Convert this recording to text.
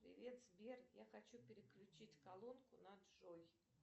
привет сбер я хочу переключить колонку на джой